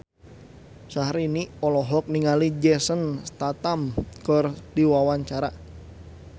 Syahrini olohok ningali Jason Statham keur diwawancara